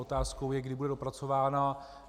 Otázkou je, kdy bude dopracována.